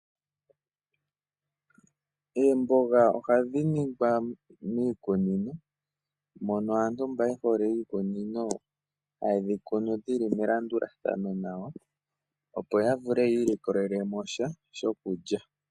Oomboga ohadhi ningwa miikunino, mono aantu mba yehole iikunino haye dhi kunu dhili melandulathano nawa, opo ya vule ya ilikolele mo sha shokulya.